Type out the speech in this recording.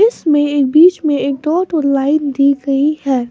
इस में एक बीच में एक डॉट और लाइन दी गई है।